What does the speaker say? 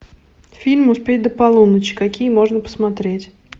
фильм успеть до полуночи какие можно посмотреть